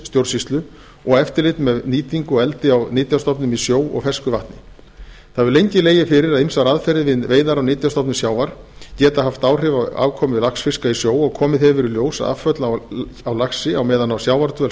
fiskeldisstjórnsýslu og eftirlit með nýtingu og eldi á nytjastofnum í sjó og fersku vatni það hefur lengi legið fyrir að ýmsar aðferðir við veiðar á nytjastofnum sjávar geta haft áhrif á afkomu laxfiska í sjó og komið hefur í ljós að afföll á laxi á meðan á sjávardvöl